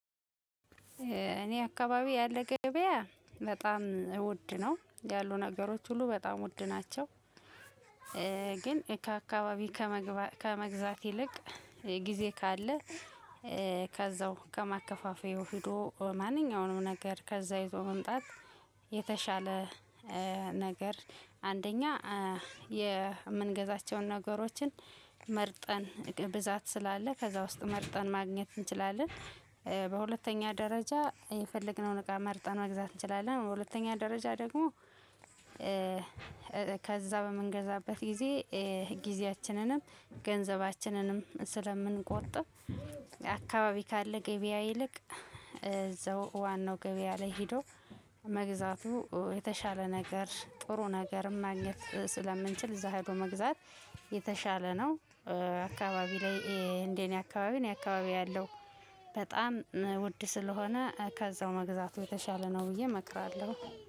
እኔ አካባቢ ያለ ገበያ በጣም ውድ ነው ያሉ ነገሮች ሁሉ በጣም ውድ ናቸው። ግን ከአካባቢ ከመግዛት ይልቅ ጊዜ ካለ ከዛው ከማከፋፈያው ሄዶ ማንኛውንም ነገር ከዛ ይዞ መምጣት የተሻለ ነገር አንደኛ የምንገዛቸውን ነገሮችን መርጠን ብዛት ስላለ ከዛ ውስጥ መርጠን ማግኘት እንችላለን። በሁለተኛ ደረጃ የፈለግነውን እቃ መርጠን መግዛት እንችላለን። በሁለተኛ ደረጃ ደግሞ ከዛ በምንገዛበት ጊዜ ጊዜያችንንም ገንዘባችንንም ስለምንቆጥብ አካባቢ ካለ ገበያ ይልቅ እዛው ዋናው ገበያ ላይ ሄዶ። መግዛቱ የተሻለ ነገር ጥሩ ነገርም ማግኘት ስለምንችል እዛ ሄዶ መግዛት የተሻለ ነው። አካባቢ ላይ እንደእኔ አካባቢ እኔ አካባቢ ያለው በጣም ውድ ስለሆነ ከዛው መግዛቱ የተሻለ ነው ብዬ እመክራለሁ።